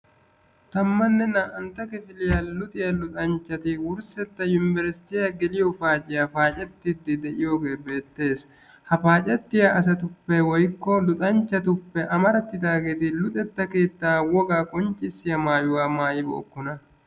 tammanne naa''antta kifiliyaa luxiyaa luxanchchati wurssetta yunbersttiyaa geliyo paaciyya paacettide de'iyooge beettees. ha paacetiyaa asatuppe woykko luxanchchcatuppe giddoppe amarattidaageetupp woga qonccissiyaa maayuwa maayyi bookkona.